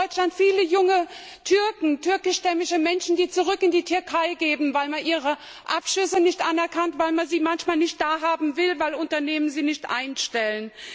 Wir haben in Deutschland viele junge Türken, türkischstämmige Menschen, die zurück in die Türkei gehen, weil man ihre Abschlüsse nicht anerkennt, weil man sie manchmal nicht da haben will, weil Unternehmen sie nicht einstellen.